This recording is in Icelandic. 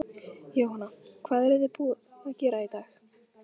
Jóhanna: Hvað eruð þið búin að gera í dag?